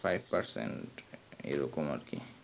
five percent আর কি